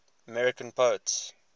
american poets